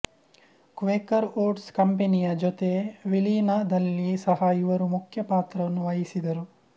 Quaker Oats ಕಂಪನಿಯ ಜೊತೆ ವಿಲೀನದಲ್ಲಿ ಸಹ ಇವರು ಮುಖ್ಯ ಪಾತ್ರವನ್ನು ವಹಿಸಿದರು